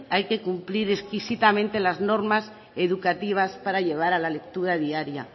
hay que cumplir exquisitamente las normas educativas para llevar a la lectura diaria